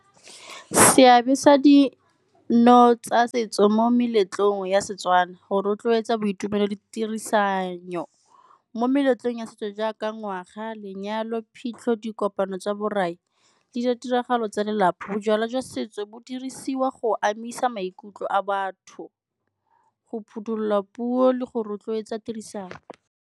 Seabe sa dino tsa setso mo meletlong ya Setswana, go rotloetsa boitumelo le tirisanyo. Mo meletlong ya setso jaaka ngwaga, lenyalo, phitlho, dikopano tsa borai le di tiragalo tsa lelapa, bojalwa jwa setso bo dirisiwa go amisa maikutlo a batho, go phothulola puo le go rotloetsa tirisano.